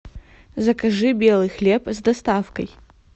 закажи белый хлеб с доставкой